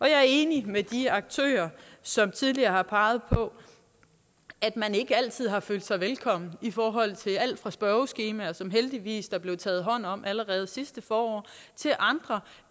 jeg er enig med de aktører som tidligere har peget på at man ikke altid har følt sig velkommen i forhold til alt fra spørgeskemaer som der heldigvis er blevet taget hånd om allerede sidste forår til andre